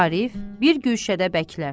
Arif bir guşədə bəkilər.